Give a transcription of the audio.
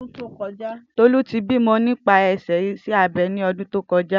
Tolu ti bimọ nipasẹ iṣẹ abẹ ni ọdun to kọja